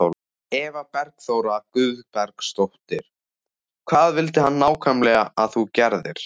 Eva Bergþóra Guðbergsdóttir: Hvað vildi hann nákvæmlega að þú gerðir?